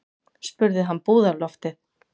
spurði hann búðarloftið.